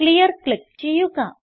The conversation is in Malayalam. ക്ലിയർ ക്ലിക്ക് ചെയ്യുക